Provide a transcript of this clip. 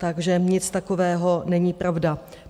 Takže nic takového není pravda.